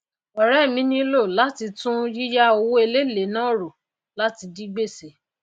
òré mi nílò láti tún yíyá owó èléèlé náà rò láti dí gbèsè